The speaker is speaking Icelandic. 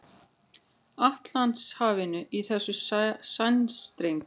Atlantshafinu í þessum sæstreng.